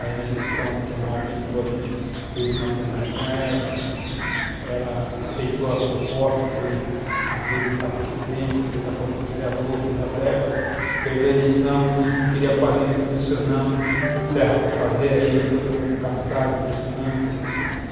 Aí na gestão que a Marta entrou, a gente fez uma plenária com ela, ela aceitou as propostas, foi, abriu a precedência, fez acordo com os vereadores, fez a verba, perdeu a eleição e não queria fazer, nós pressionamos, se erra para fazer, aí foi para o mundo caçado, pressionamos.